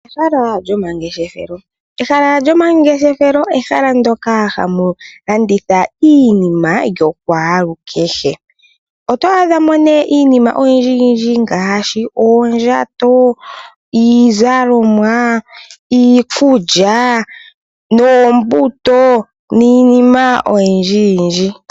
Ehala lyo mangeshefelo. Ehala lyomangeshefelo ehala ndoka hamu landithwa iinima yokwaalukehe. oto adhamo nee iinima oyindji ngaashi ,oondjato, iizalomwa iikulya noombuto niinima oyindji.